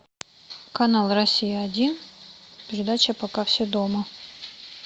канал россия один передача пока все дома